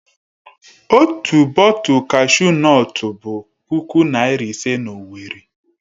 Otu bọtul kashu nọtu bụ puku naira ise na Owerri.